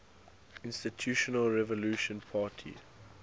institutional revolutionary party